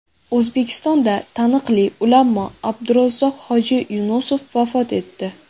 O‘zbekistonda taniqli ulamo Abdurazzoq hoji Yunusov vafot etdi.